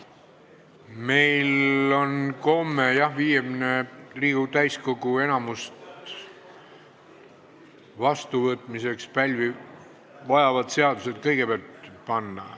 Meil on komme, jah, kõigepealt panna eelnõud, mis vajavad vastuvõtmiseks täiskogu enamuse poolthääli.